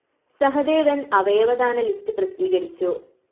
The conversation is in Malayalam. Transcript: സഹദേവന്‍ അവയവദാന ലിസ്റ്റ്‌ പ്രസിദ്ധീകരിച്ചു